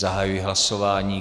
Zahajuji hlasování.